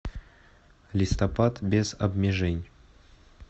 листопад без обмежень